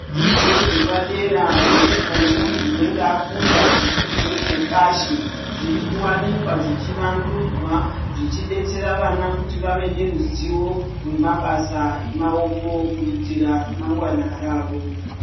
Zvidzodzo zvepadera zvinoitwa nemunthu unenge akunda chidzidzo chepashi zviri kuwanikwa zvichivandudzwa zvichidetsera vana kuti vave neruzivo rwemabasa emaoko kuitira ramangwana ravo.